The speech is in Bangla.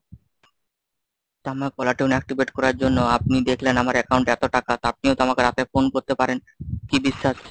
caller tune activate করার জন্য আপনি দেখলেন আমার account এ এত টাকা তো আপনিও তো আমাকে রাতে phone করতে পারেন, কি বিশ্বাস?